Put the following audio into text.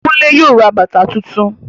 Kunle yóò ra bàbà tuntun